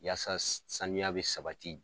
Yaasa saniya bɛ sabati